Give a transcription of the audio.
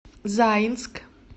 заинск